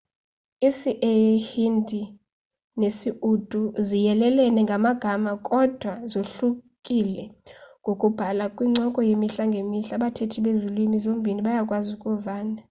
isii-hindi nesi-urdu ziyelelene ngamagama kodwa zohlukile ngokubhalwa kwincoko yemihla ngemihla abathethi bezi lwimi zombini bayakwazi ukuvana